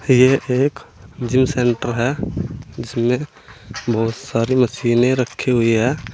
यह एक gym centre है जिसमें बहोत सारी मशीने रखी हुई हैं।